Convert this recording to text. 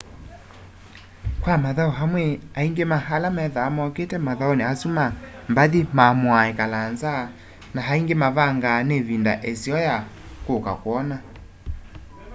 kwa mathau amwe aingi ma ala methwaa mokite mathauni asu ma mbathi maamuaa ikala nza na aingi mavangaa ni ivinda iseo ya kuka kwona